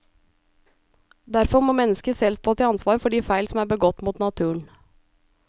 Derfor må mennesket selv stå til ansvar for de feil som er begått mot naturen.